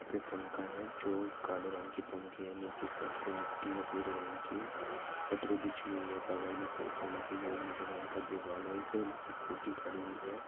यहा पे पंखा है। जो काले रंग की पंखे है। नीचे के साइड पे मिट्टी है भुरे रंग की। पटरी बिछी हुई है। बगल मे साइकल रखी गई है। नीले रंग का दीवाल है। एक स्कूटी खड़ी हुई है।